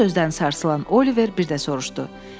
Bu sözdən sarsılan Oliver bir də soruşdu.